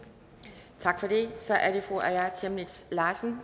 ser at det